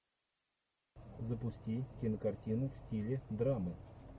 запусти кинокартину в стиле драму